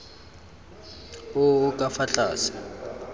o o ka fa tlase